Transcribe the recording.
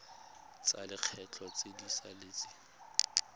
tsa lekgetho tse di saletseng